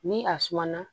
Ni a suma na